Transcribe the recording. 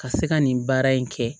Ka se ka nin baara in kɛ